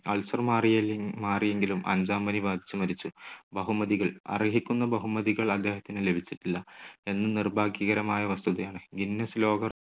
Ulcer മാറിയെ~മാറിയെങ്കിലും അഞ്ചാംപനി ബാധിച്ച് മരിച്ചു. ബഹുമതികൾ. അർഹിക്കുന്ന ബഹുമതികൾ അദ്ദേഹത്തിന് ലഭിച്ചിട്ടില്ല എന്ന് നിർഭാഗ്യകരമായ വസ്തുതയാണ്. guinness ലോക